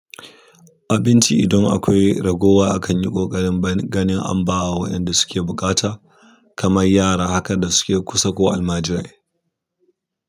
Abinci idan akwai ragowa akan yi ƙoƙarin bani ganin an ba wa waɗanda suke buƙata kamar yara haka da suke kusa ko almajirai.